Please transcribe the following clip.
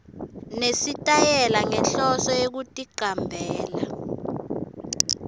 nesitayela ngenhloso yekuticambela